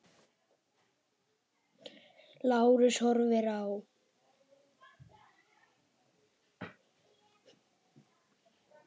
Lárus horfir á.